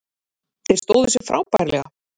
Þeir stóðu sig frábærlega